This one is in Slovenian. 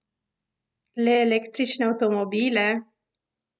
Le električne avtomobile?